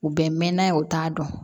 U bɛ mɛn n'a ye u t'a dɔn